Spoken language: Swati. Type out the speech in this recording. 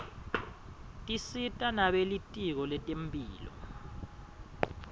tisita nebelitiko letemphilo